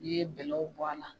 N'i ye bɛlɛw bɔ a la,